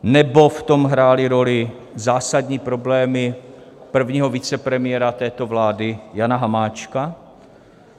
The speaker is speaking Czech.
Nebo v tom hrály roli zásadní problémy prvního vicepremiéra této vlády Jana Hamáčka?